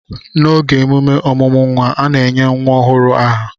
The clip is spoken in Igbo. n'oge emume ọmụmụ nwa, a na-enye nwa ọhụrụ aha